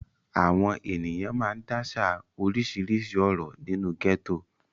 Àwọn ènìyàn máa ń dáṣà oríṣiríṣi ọ̀rọ̀ nínú gẹ́tò.